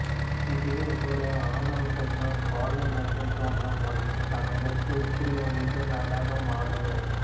இதை ஒரு ஆணோ பெண்ணோ பாலுணர்வை தூண்டும் வண்ணம் தமது துகிலை உரிந்து நடனம் ஆடுவர்